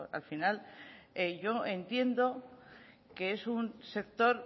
al final yo entiendo que es un sector